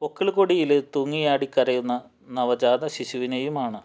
പൊക്കിള്ക്കൊടിയില് തൂങ്ങിയാടി കരയുന്ന നവജാത ശിശുവിനെയുമാണ്